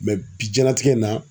bi diɲɛlatigɛ in na.